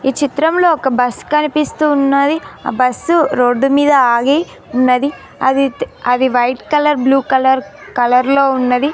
ఈ చిత్రంలో ఒక బస్ కనిపిస్తూ ఉన్నది ఆ బస్సు రోడ్డుమీద ఆగి ఉన్నది అది అది white colour blue colour colour లో ఉన్నది.